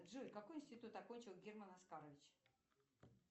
джой какой институт окончил герман оскарович